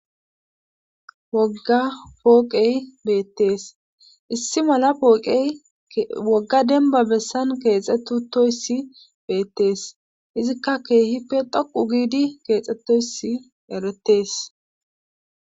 wogga pooqey beettees issi mala pooqey wogga denba bessan keexettoyssi beettees izikka keehippe dhoqu giidi keexxettoysi eretees